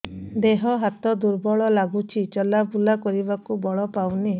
ଦେହ ହାତ ଦୁର୍ବଳ ଲାଗୁଛି ଚଲାବୁଲା କରିବାକୁ ବଳ ପାଉନି